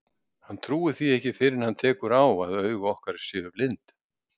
Hann trúir því ekki fyrr en hann tekur á að augu okkar séu blind.